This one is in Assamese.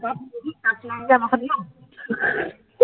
shirt নাই যে